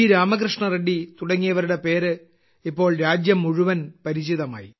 രാമകൃഷ്ണറെഡ്ഡി തുടങ്ങിയവരുടെ പേര് ഇപ്പോൾ രാജ്യം മുഴുവൻ പരിചിതമായി